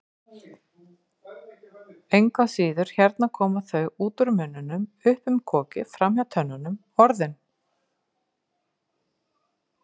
Engu að síður, hérna koma þau, út úr munninum, upp um kokið, framhjá tönnunum, Orðin.